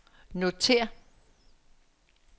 notér